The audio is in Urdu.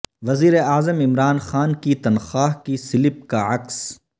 وزیر اعظم عمران خان کی تنخواہ کی سلپ کا عکس